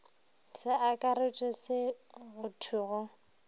sa akaretšwe se go thwego